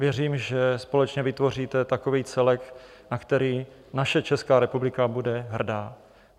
Věřím, že společně vytvoříte takový celek, na který naše Česká republika bude hrdá.